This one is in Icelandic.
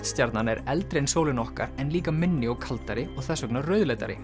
stjarnan er eldri en sólin okkar en líka minni og kaldari og þess vegna